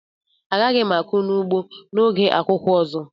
Agaghị m akụ n'ugbo a na oge akuku ọzọ.